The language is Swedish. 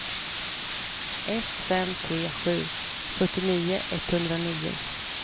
ett fem tre sju fyrtionio etthundranio